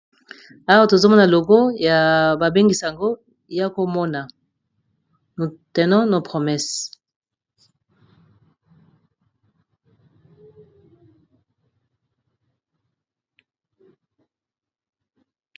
Awa tozomona logo ya babengisi yango ya komona tenons nos promesses.